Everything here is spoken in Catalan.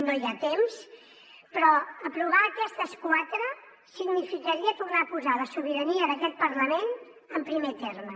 no hi ha temps però aprovar aquestes quatre significaria tornar a posar la sobirania d’aquest parlament en primer terme